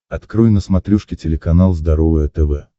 открой на смотрешке телеканал здоровое тв